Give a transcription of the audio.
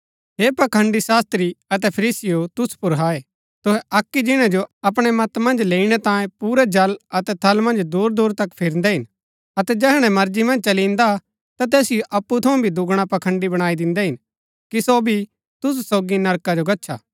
हे पखंड़ी शास्त्री अतै फरीसीयों तुसु पुर हाय तुहै अक्की जिणै जो अपणै मत मन्ज लैईणै तांयें पुरै जल अतै थल मन्ज दूरदूर तक फिरदै हिन अतै जैहणै मर्जी मन्ज चली इन्दा ता तैसिओ अप्पु थऊँ भी दूगणा पखंड़ी बणाई दिन्दै हिन कि सो भी तुसु सोगी नरका जो गच्छा